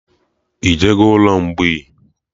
Ị jego ụlọ mgbei?